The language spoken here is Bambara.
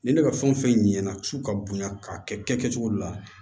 Ni ne ka fɛn o fɛn ɲɛna su ka bonya k'a kɛ kɛcogo de la